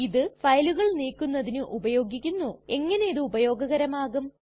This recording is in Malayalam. ഇത് ഫയലുകൾ നീക്കുന്നതിന് ഉപയോഗിക്കുന്നുഎങ്ങനിതു ഉപയോഗകരമാകും